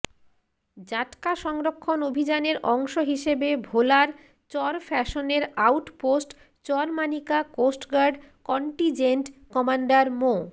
জাটকা সংরক্ষণ অভিযানের অংশ হিসেবে ভোলার চরফ্যাশনের out post Charmanika coast guard contingent commander মো